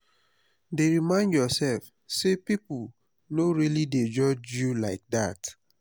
dey remind yourself say people no really dey judge you like that